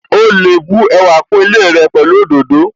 Ó lè bu ẹwà kún ilé rẹ pẹ̀lú òdòdó